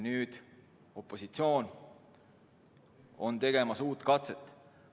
Nüüd on opositsioon tegemas uut katset.